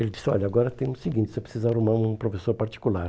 Ele disse, olha, agora tem o seguinte, você precisa arrumar um professor particular.